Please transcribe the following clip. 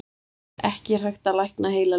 Ekki er hægt að lækna heilalömun.